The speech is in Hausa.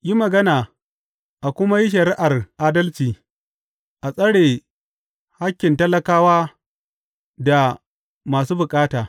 Yi magana a kuma yi shari’ar adalci; a tsare hakkin talakawa da masu bukata.